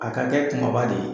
A ka kɛ kunbaba de ye.